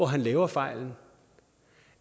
han laver fejlen